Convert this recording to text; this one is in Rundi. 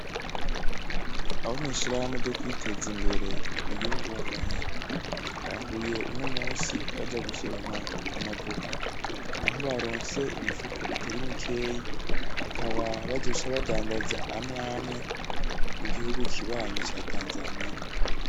Abo mwishirahamwe ryo kwiteza imbere twiyungunganye, nahuye uno musi baja gusoroma amavoka, aho baronse imifuko itari mikeyi, bakaba bazoca badandaza amwamwe mugihugu kibanyi ca tanzaniya.